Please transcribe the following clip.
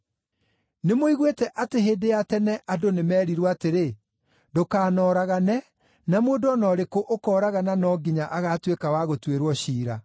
“Nĩmũiguĩte atĩ hĩndĩ ya tene andũ nĩmerirwo atĩrĩ, ‘Ndũkanoragane, na mũndũ o na ũrĩkũ ũkooragana no nginya agaatuĩka wa gũtuĩrwo ciira.’